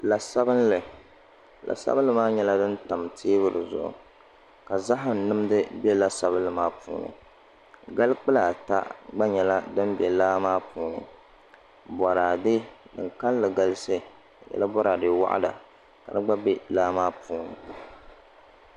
La sabinli la sabinli maa nyɛla din tam teebuli zuɣu ka zaham nimdi bɛ la sabinli maa puuni gali kpulaa ata gba nyɛla din bɛ laa maa puuni boraadɛ din kanli galisi di nyɛla boraadɛ waɣala ka di gba bɛ laa maa puuni